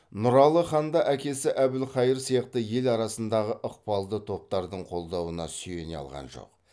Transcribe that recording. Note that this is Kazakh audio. нұралы хан да әкесі әбілқайыр сияқты ел арасындағы ықпалды топтардың қолдауына сүйене алған жоқ